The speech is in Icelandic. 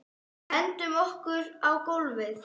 Hendum okkur á gólfið.